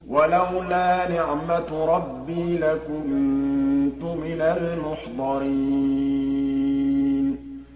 وَلَوْلَا نِعْمَةُ رَبِّي لَكُنتُ مِنَ الْمُحْضَرِينَ